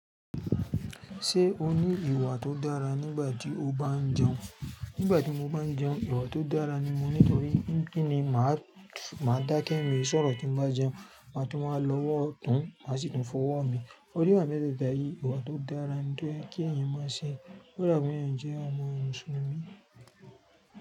Ṣé o ní ìwà tó dára nígbà tí o bá ń jẹun? Nígbà tí mo bá ń jẹun, ìwà tó dára ni mo ní nítorí kí ni màá dà kẹ́mi, sọ̀rọ̀ tí ń bá jẹun, màá tún máa lọ́wọ́ ọ̀tún, màá sì tún fọwọ́ mi. Ó rí wà mí bẹ́ẹ̀ dáyé, ìwà tó dára ni tó ń kí ẹ̀yin máa ṣe. Ó dà bi un jẹ́ ọmọ Mùsùlùmí.